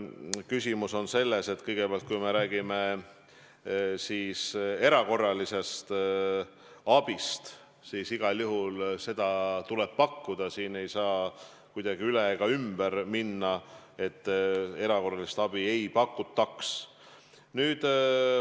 Küsimus on selles, et kui me räägime erakorralisest abist, siis igal juhul seda tuleb pakkuda, sellest ei saa kuidagi üle ega ümber minna, erakorralist abi tuleb pakkuda.